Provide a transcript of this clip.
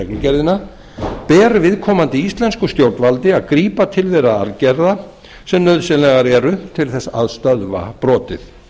reglugerðina ber viðkomandi íslensku stjórnvaldi að grípa til þeirra aðgerða sem nauðsynlegar eru til þess að stöðva brotið